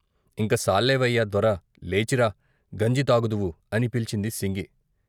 ఇంక సాల్లేవయ్యా దొర లేచిరా గంజి తాగుదువు అని పిలిచింది సింగి.